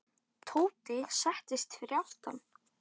Tóti settist fyrir aftan.